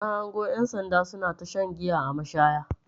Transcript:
Na hango ƴan sanda suna shan giya a mashaya.